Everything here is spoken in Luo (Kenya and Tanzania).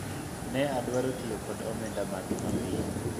ne odwaro tiyo kod omenda mage mapiyo